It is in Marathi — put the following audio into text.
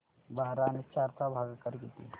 बारा आणि चार चा भागाकर किती